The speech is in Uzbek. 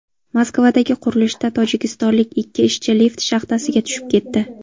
Moskvadagi qurilishda tojikistonlik ikki ishchi lift shaxtasiga tushib ketdi.